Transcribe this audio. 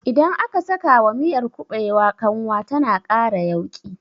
Idan aka sakawa miyar kuɓewa kanwa tana ƙara yauƙi